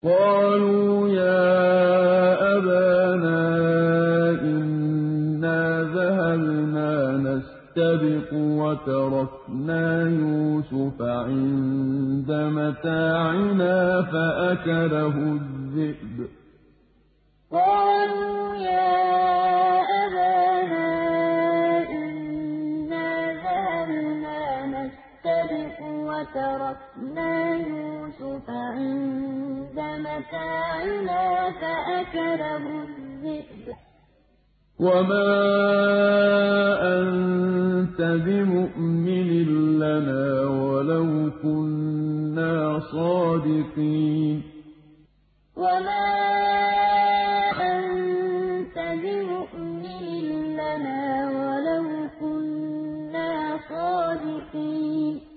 قَالُوا يَا أَبَانَا إِنَّا ذَهَبْنَا نَسْتَبِقُ وَتَرَكْنَا يُوسُفَ عِندَ مَتَاعِنَا فَأَكَلَهُ الذِّئْبُ ۖ وَمَا أَنتَ بِمُؤْمِنٍ لَّنَا وَلَوْ كُنَّا صَادِقِينَ قَالُوا يَا أَبَانَا إِنَّا ذَهَبْنَا نَسْتَبِقُ وَتَرَكْنَا يُوسُفَ عِندَ مَتَاعِنَا فَأَكَلَهُ الذِّئْبُ ۖ وَمَا أَنتَ بِمُؤْمِنٍ لَّنَا وَلَوْ كُنَّا صَادِقِينَ